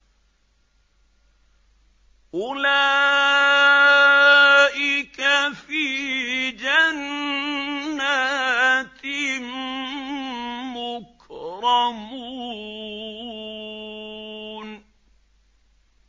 أُولَٰئِكَ فِي جَنَّاتٍ مُّكْرَمُونَ